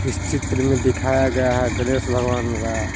चित्र में दिखाया गया है गणेश भगवान का--